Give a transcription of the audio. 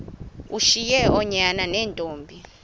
ushiye oonyana neentombi